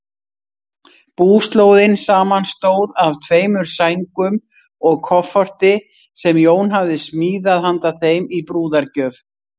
Búslóðin samanstóð af tveimur sængum og kofforti, sem Jón hafði smíðað handa þeim í brúðargjöf.